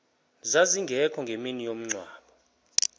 zazingekho ngemini yomngcwabo